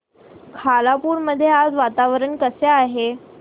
खालापूर मध्ये आज वातावरण कसे आहे